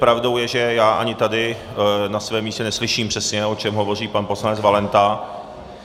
Pravdou je, že já ani tady na svém místě neslyším přesně, o čem hovoří pan poslanec Valenta.